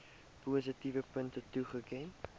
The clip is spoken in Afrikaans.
positiewe punte toeken